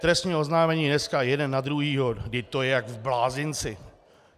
Trestní oznámení dneska jeden na druhého - vždyť to je jak v blázinci.